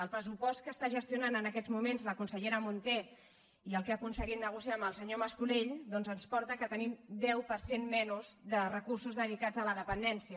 el pressupost que està gestionant en aquests moments la consellera munté i el que ha aconseguit negociar amb el senyor mas colell doncs ens porta que tenim un deu per cent menys de recursos dedicats a la dependència